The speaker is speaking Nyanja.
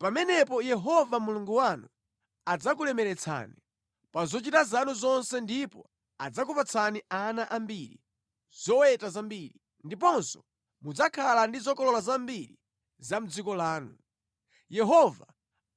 Pamenepo Yehova Mulungu wanu adzakulemeretsani pa zochita zanu zonse ndipo adzakupatsani ana ambiri, zoweta zambiri, ndiponso mudzakhala ndi zokolola zambiri za mʼdziko lanu. Yehova